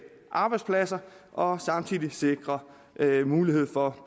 arbejdspladser og samtidig sikre mulighed for at